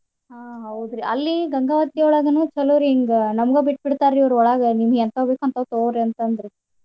ಹ ಹೌದ್ರಿ ಅಲ್ಲಿ ಗಂಗಾವತಿ ಒಳ್ಗನ ಚಲೋ ರಿ ಹಿಂಗ ನಮ್ಗ ಬಿಟ್ ಬಿಡ್ತಾರಿ ಅವ್ರ ಒಳ್ಗ ನೀಮ್ಗ್ ಹೆಂತಾವ್ ಬೇಕ್ ಹಂತಾವ್ ತೂಗೋರಿ ಅಂತಂದ್ರು.